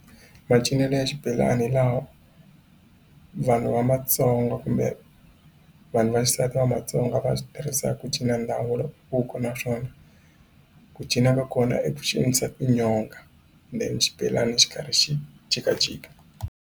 Macinelo ya xibelani laha vanhu va Matsonga kumbe vanhu va xisati va mMtsonga va swi tirhisa ku cina naswona ku cinca ka kona i ku cinisa tinyonga then xibelani xi karhi xi jikajika.